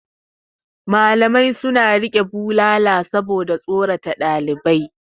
Malamai suna riƙe bulala saboda tsorata ɗalibai.